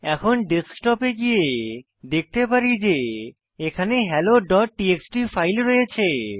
এখন ডেস্কটপ এ গিয়ে দেখতে পারি যে এখানে হেলো ডট টিএক্সটি ফাইল রয়েছে